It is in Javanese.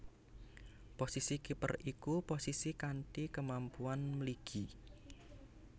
Posisi kiper iku posisi kanthi kemampuan mligi